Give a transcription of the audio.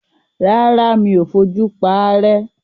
Rárá, mi ò fojú paárẹ́.